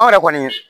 Anw yɛrɛ kɔni